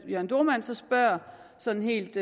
jørn dohrmann så spørger sådan helt